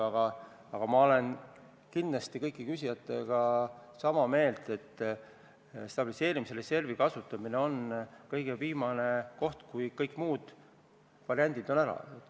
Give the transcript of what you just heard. Aga kindlasti olen ma kõigi küsijatega sama meelt, et stabiliseerimisreservi kasutamine on kõige viimane koht, mida kasutada alles siis, kui kõik muud variandid on ära proovitud.